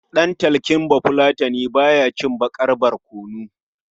Ɗan talking Bafulatani ba ya cin baƙar barkono.